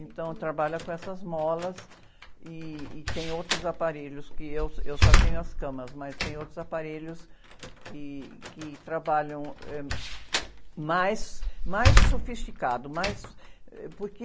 Então, trabalha com essas molas ih, e tem outros aparelhos que eu, eu só tenho as camas, mas tem outros aparelhos que, que trabalham, ãh, mais, mais sofisticado, mais... Eh, porque...